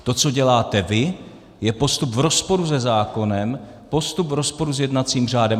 To, co děláte vy, je postup v rozporu se zákonem, postup v rozporu s jednacím řádem.